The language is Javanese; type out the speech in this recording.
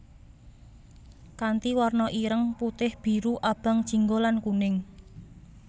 Kanthi warna ireng putih biru abang jingga lan kuning